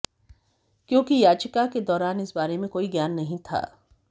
क्योंकि याचिका के दौरान इस बारे में कोई ज्ञान नहंी था